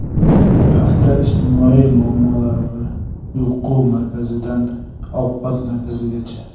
Hafta ijtimoiy muammolari: Uyqu markazidan ovqat markazigacha.